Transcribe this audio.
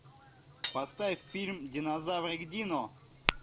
поставь фильм динозаврик дино